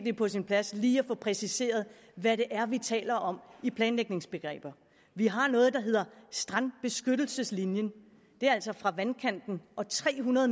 er på sin plads lige at få præciseret hvad det er vi taler om i planlægningsbegreber vi har noget der hedder strandbeskyttelseslinjen og det er altså fra vandkanten og tre hundrede